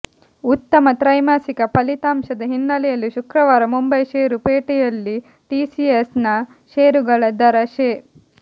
ಉತ್ತಮ ತ್ರೈಮಾಸಿಕ ಫಲಿತಾಂಶದ ಹಿನ್ನೆಲೆಯಲ್ಲಿ ಶುಕ್ರವಾರ ಮುಂಬೈ ಶೇರು ಪೇಟೆಯಲ್ಲಿ ಟಿಸಿಎಸ್ ನ ಶೇರುಗಳ ದರ ಶೇ